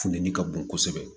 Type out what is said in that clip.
Funteni ka bon kosɛbɛ